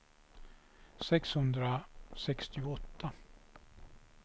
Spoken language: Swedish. sexhundrasextioåtta